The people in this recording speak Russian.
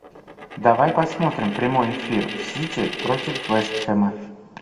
давай посмотрим прямой эфир сити против вест хэма